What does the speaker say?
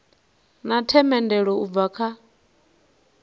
na themendelo u bva kha